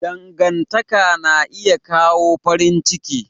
Dangantaka na iya kawo farin ciki.